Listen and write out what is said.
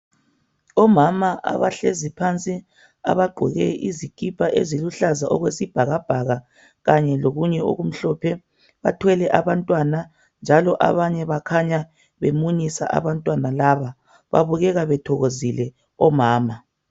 Omama abahlezi phansi, abagqoke izikipa eziluhlaza okwesibhakabhaka, kanye lokunye okumhlophe bathwele abantwana njalo abanye bakhanya beminyisa abantwana laba, babukeka bethokozile omama.